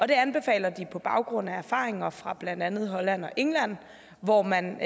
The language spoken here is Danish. det anbefaler de på baggrund af erfaringer fra blandt andet holland og england hvor man